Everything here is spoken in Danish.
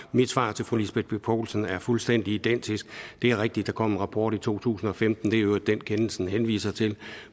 mit svar til fru lisbeth bech poulsen er fuldstændig identisk det er rigtigt at der kom en rapport i to tusind og femten det er i øvrigt den kendelsen henviser til